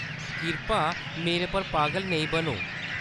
किरपा मेरे पर पागल नेई बनो।